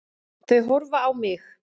Þau horfa á mig.